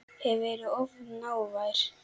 Hef verið of hávær.